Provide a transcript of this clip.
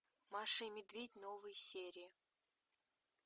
маша и медведь новые серии